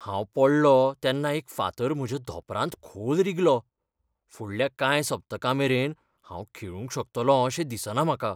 हांव पडलों तेन्ना एक फातर म्हज्या धोंपरांत खोल रिगलो. फुडल्या कांय सप्तकांमेरेन हांव खेळूंक शकतलों अशें दिसना म्हाका.